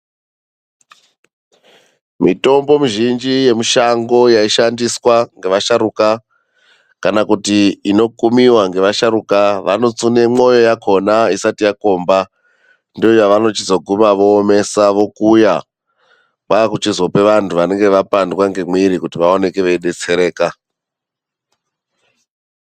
Mitombo mizhinji yemushango yaishandiswa ngevasharuka kana kuti inokumiwa nevasharuka vano tsune mwoyo yakhona isati yakomba ndoyavano omesa vokuya vozopa vantu vanenge vapandwa ngemwiri kuti vazoone vebetsereka.